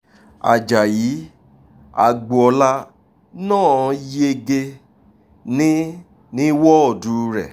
ajáyí agboola náà yege ní ní wọ́ọ̀dù rẹ̀